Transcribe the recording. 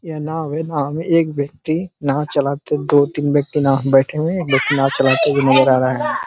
यह नाव है। नाव में एक व्यक्ति नाव चलाते हुए दो तीन व्यक्ति नाव में बैठे हुए हैं। एक व्यक्ति नाव चलाते हुए नजर आ रहा है।